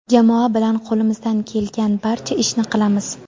Jamoa bilan qo‘limizdan kelgan barcha ishni qilamiz.